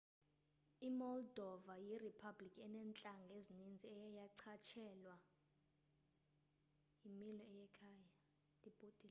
imoldova yiriphabliki eneentlanga ezininzi eye yachatshazelwa yimilo yekhaya